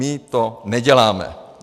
My to neděláme.